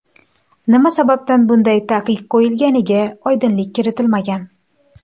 Nima sababdan bunday taqiq qo‘yilganiga oydinlik kiritilmagan.